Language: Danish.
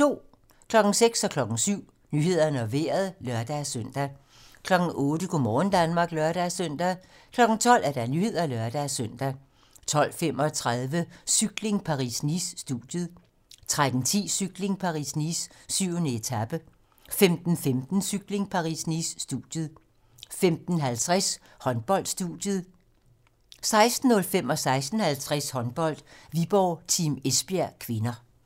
06:00: Nyhederne og Vejret (lør-søn) 07:00: Nyhederne og Vejret (lør-søn) 08:00: Go' morgen Danmark (lør-søn) 12:00: Nyhederne (lør-søn) 12:35: Cykling: Paris-Nice - studiet 13:10: Cykling: Paris-Nice - 7. etape 15:15: Cykling: Paris-Nice - studiet 15:50: Håndbold: Studiet 16:05: Håndbold: Viborg-Team Esbjerg (k) 16:50: Håndbold: Viborg-Team Esbjerg (k)